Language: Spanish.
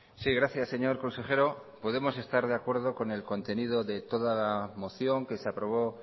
sí gracias señor consejero podemos estas de acuerdo con el contenido de toda la moción que se aprobó